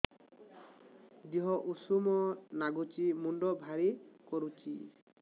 ଦିହ ଉଷୁମ ନାଗୁଚି ମୁଣ୍ଡ ଭାରି କରୁଚି